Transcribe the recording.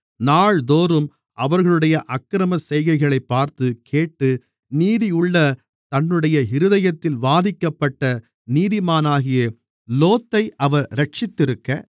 நாள்தோறும் அவர்களுடைய அக்கிரமச் செய்கைகளைப் பார்த்து கேட்டு நீதியுள்ள தன்னுடைய இருதயத்தில் வாதிக்கப்பட்ட நீதிமானாகிய லோத்தை அவர் இரட்சித்திருக்க